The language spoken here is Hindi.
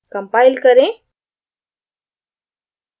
compile करें